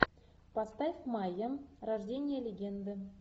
поставь майя рождение легенды